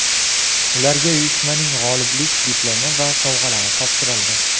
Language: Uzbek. Ularga uyushmaning g‘oliblik diplomi va sovg‘alari topshirildi.